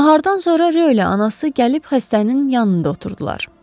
Nahardan sonra Rö ilə anası gəlib xəstənin yanında oturdular.